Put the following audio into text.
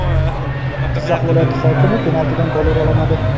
Jizzax viloyat hokimi penaltidan gol ura olmadi.